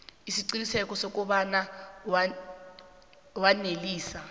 isiqiniseko sokobana wanelisa